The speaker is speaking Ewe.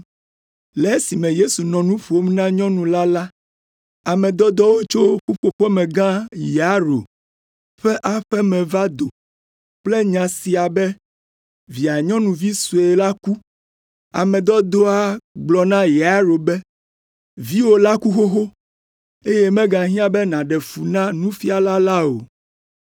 Le esime Yesu nɔ nu ƒom na nyɔnu la la, ame dɔdɔwo tso ƒuƒoƒemegã Yairo ƒe aƒe me va do kple nya sia be via nyɔnuvi sue la ku. Ame dɔdɔa gblɔ na Yairo be, “Viwo la ku xoxo, eye megahiã be nàɖe fu na Nufiala la o.”